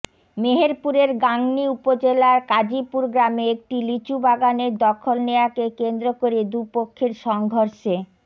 মেহেরপুরের গাংনী উপজেলার কাজিপুর গ্রামে একটি লিচু বাগানের দখল নেয়াকে কেন্দ্র করে দুপক্ষের সংঘর্ষে